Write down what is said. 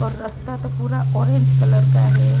रस्ता तो पूरा ऑरेंज कलर का है।